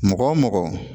Mɔgɔ mɔgɔ